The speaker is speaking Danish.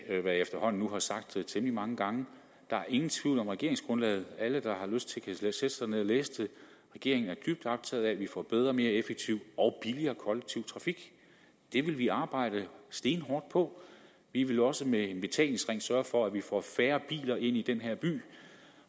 jeg efterhånden nu har sagt temmelig mange gange der er ingen tvivl om regeringsgrundlaget alle der har lyst til det kan sætte sig ned og læse det regeringen er dybt optaget af at vi får bedre og mere effektiv og billigere kollektiv trafik det vil vi arbejde stenhårdt på vi vil også med en betalingsring sørge for at vi får færre biler ind i den her by